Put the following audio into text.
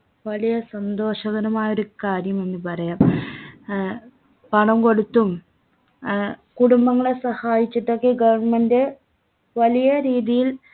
വലിയ സന്തോഷകരമായ ഒരു കാര്യമെന്നു പറയാം ഏർ പണം കൊടുത്തും ഏർ കുടുംബങ്ങളെ സഹായിച്ചിട്ടൊക്കെ government വലിയ രീതിയിൽ